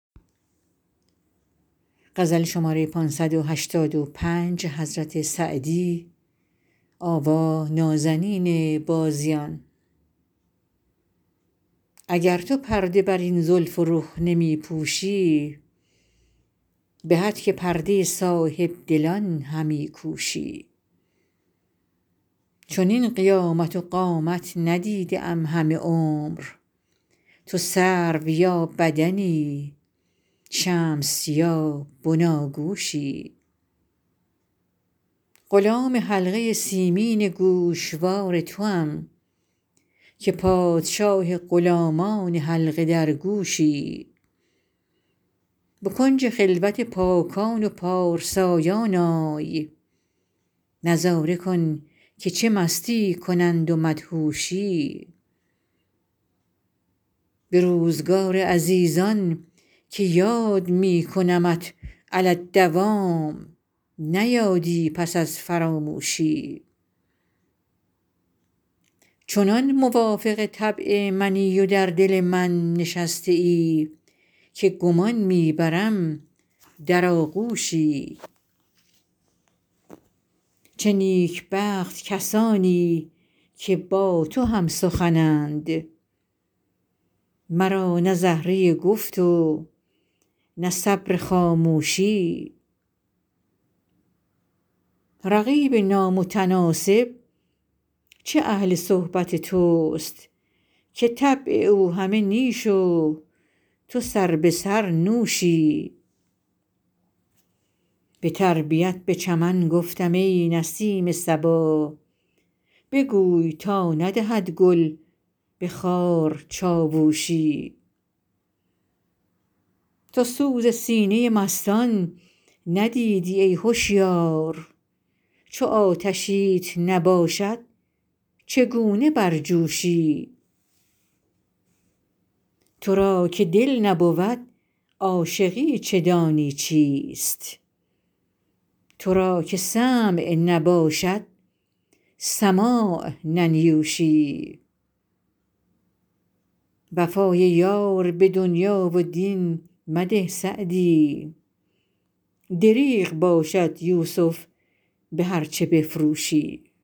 اگر تو پرده بر این زلف و رخ نمی پوشی به هتک پرده صاحب دلان همی کوشی چنین قیامت و قامت ندیده ام همه عمر تو سرو یا بدنی شمس یا بناگوشی غلام حلقه سیمین گوشوار توام که پادشاه غلامان حلقه درگوشی به کنج خلوت پاکان و پارسایان آی نظاره کن که چه مستی کنند و مدهوشی به روزگار عزیزان که یاد می کنمت علی الدوام نه یادی پس از فراموشی چنان موافق طبع منی و در دل من نشسته ای که گمان می برم در آغوشی چه نیکبخت کسانی که با تو هم سخنند مرا نه زهره گفت و نه صبر خاموشی رقیب نامتناسب چه اهل صحبت توست که طبع او همه نیش و تو سربه سر نوشی به تربیت به چمن گفتم ای نسیم صبا بگوی تا ندهد گل به خار چاووشی تو سوز سینه مستان ندیدی ای هشیار چو آتشیت نباشد چگونه برجوشی تو را که دل نبود عاشقی چه دانی چیست تو را که سمع نباشد سماع ننیوشی وفای یار به دنیا و دین مده سعدی دریغ باشد یوسف به هرچه بفروشی